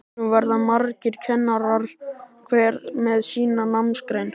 Nú verða margir kennarar, hver með sína námsgrein.